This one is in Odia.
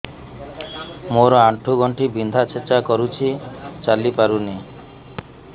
ମୋର ଆଣ୍ଠୁ ଗଣ୍ଠି ବିନ୍ଧା ଛେଚା କରୁଛି ଚାଲି ପାରୁନି